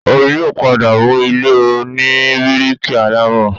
Omi yóò padà mu ilé oní bíríkì alámọ̀